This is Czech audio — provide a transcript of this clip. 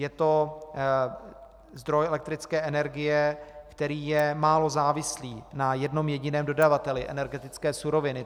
Je to zdroj elektrické energie, který je málo závislý na jednom jediném dodavateli energetické suroviny.